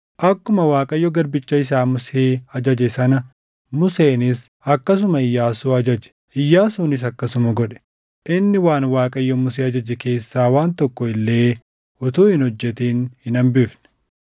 Akkuma Waaqayyo garbicha isaa Musee ajaje sana Museenis akkasuma Iyyaasuu ajaje; Iyyaasuunis akkasuma godhe; inni waan Waaqayyo Musee ajaje keessaa waan tokko illee utuu hin hojjetin hin hambifne.